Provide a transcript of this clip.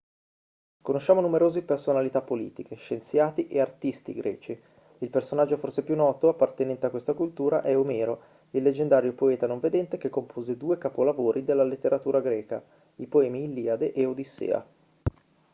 conosciamo numerosi personalità politiche scienziati e artisti greci il personaggio forse più noto appartenente a questa cultura è omero il leggendario poeta non vedente che compose due capolavori della letteratura greca i poemi iliade e odissea